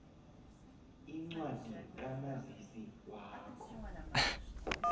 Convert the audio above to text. incwadi kamazisi wakho